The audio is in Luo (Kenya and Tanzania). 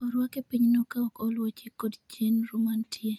orwak e pinyno kaok oluwo chik kod chenro mantie